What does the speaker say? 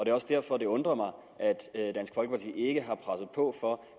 er også derfor det undrer mig at dansk folkeparti ikke har presset på for